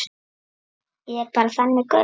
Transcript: Ég er bara þannig gaur.